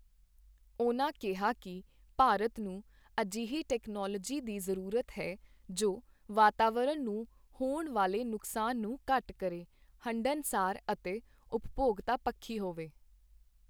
ਉਨ੍ਹਾਂ ਕਿਹਾ ਕਿ ਭਾਰਤ ਨੂੰ ਅਜਿਹੀ ਟੈਕਨੋਲੋਜੀ ਦੀ ਜ਼ਰੂਰਤ ਹੈ, ਜੋ ਵਾਤਾਵਰਣ ਨੂੰ ਹੋਣ ਵਾਲੇ ਨੁਕਸਾਨ ਨੂੰ ਘੱਟ ਕਰੇ, ਹੰਢਣਸਾਰ ਅਤੇ ਉਪਭੋਗਤਾ ਪੱਖੀ ਹੋਵੇ।